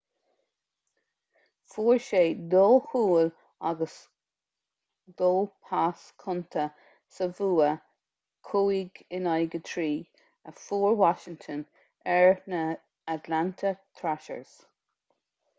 fuair sé 2 chúl agus 2 phas cúnta sa bhua 5-3 a fuair washington ar na atlanta thrashers